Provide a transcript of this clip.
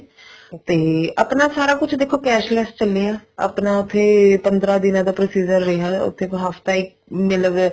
ਤੇ ਆਪਣਾ ਸਾਰਾ ਕੁੱਛ ਦੇਖੋ cashless ਚੱਲਿਆ ਆਪਾਂ ਫ਼ੇਰ ਇਹ ਪੰਦਰਾਂ ਦਿਨਾ ਦਾ procedure ਰਿਹਾ ਉੱਥੇ ਹਫਤਾ ਮੇਰੇ ਲਵੇ